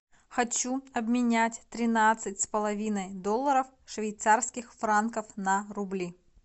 хочу обменять тринадцать с половиной долларов швейцарских франков на рубли